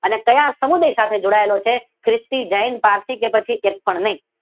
આ ક્યાં સમુદાય સાથે જોડાયેલો છે? ખ્રિસ્તી, જૈન, પારસી કે એક પણ નહી?